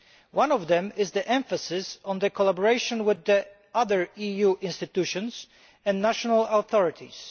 One of these is the emphasis on collaboration with the other EU institutions and national authorities.